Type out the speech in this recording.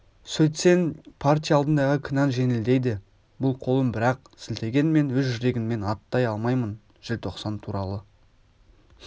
сөйтсең партия алдындағы кінәң жеңілдейді бұл қолын бір-ақ сілтеген мен өз жүрегімнен аттай алмаймын желтоқсан туралы